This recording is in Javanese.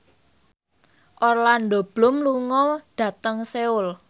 Orlando Bloom lunga dhateng Seoul